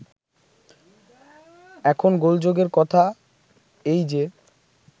এখন গোলযোগের কথা এই যে